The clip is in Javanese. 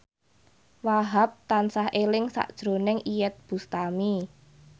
Wahhab tansah eling sakjroning Iyeth Bustami